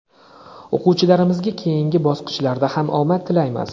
O‘quvchilarimizga keyingi bosqichlarda ham omad tilaymiz!.